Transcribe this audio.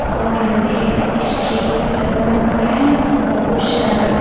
और लोहे का स्ट्रिक भी लगा हुआ है बहुत सारा--